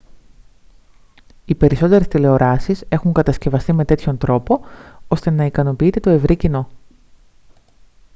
οι περισσότερες τηλεοράσεις έχουν κατασκευαστεί με τέτοιον τρόπο ώστε να ικανοποιείται το ευρύ κοινό